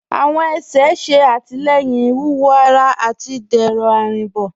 Awọn ẹ̀ṣẹ̀ ṣẹ̀ àtilẹ̀yìn iwúwọ̀ ará àti dẹrọ arínbo.